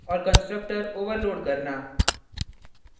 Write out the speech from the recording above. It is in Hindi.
और constructor overload करना